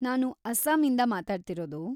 ನಾನು ಅಸ್ಸಾಮಿಂದ ಮಾತಾಡ್ತಿರೋದು.